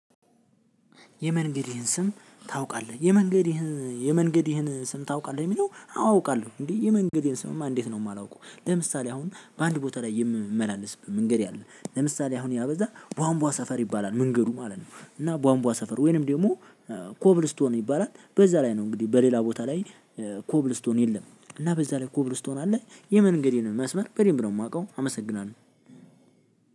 የመንገድህን ይህን ስም ታውቃለህ የመንገድህን የመንገድህን ስም ታውቃለህ? የሚለው አዎ አውቃለሁ እንዴ የመንገዴን ስምማ እንዴት ነው የማላውቀው? ለምሳሌ አሁን በአንድ ቦታ ላይ የምመላለስበት መንገድ አለ። ለምሳሌ አሁን ያ በዛ ቧንቧ ሰፈር ይባላል መንገዱ ማለት ነው። እና ቧንቧ ሰፈር ወይንም ደግሞ ኮብልስቶን ይባላል በዛ ላይ ነው። እንግዲህ በሌላ ቦታ ላይ ኮብልስቶን የለም። እና በዛ ላይ ኮብልስቶን አለ። የመንገዴን መስመር በደንብ ነው የማውቀው አመሰግናለሁ።